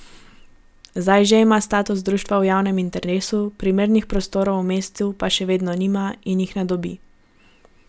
Zdaj že ima status društva v javnem interesu, primernih prostorov v mestu pa še vedno nima in jih ne dobi.